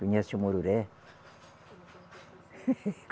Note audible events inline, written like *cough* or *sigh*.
Conhece o mururé? *laughs*